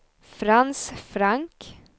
Frans Frank